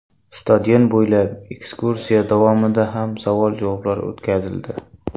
Stadion bo‘ylab ekskursiya davomida ham savol-javoblar o‘tkazildi.